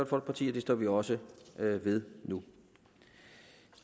folkeparti og det står vi også ved nu